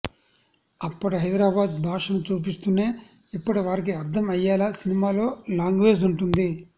అప్పటి హైదరాబాద్ భాషను చూపిస్తూనే ఇప్పటి వారికి అర్ధం అయ్యేలా సినిమాలో లాంగ్వేజ్ఉంటుంది